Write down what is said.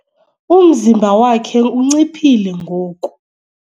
Umzimba wakhe unciphile ngoku.